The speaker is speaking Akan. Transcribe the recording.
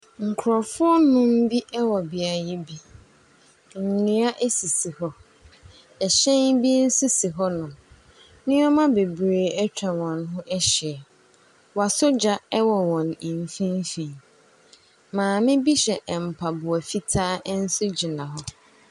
Nkurɔfoɔ nnum bi wɔ beaeɛ bi. Nkonnwa sisi hɔ. Ɛhyɛn bi nso su hɔnom. Nneɛma bebree atwa wɔn ho ahyia. Wɔasɔ gya wɔ wɔn mfimfin. Maame bi hyɛ mpaboa fitaa nso gyina hɔ.